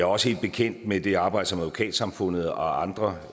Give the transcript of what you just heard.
også helt bekendt med det arbejde som advokatsamfundet og andre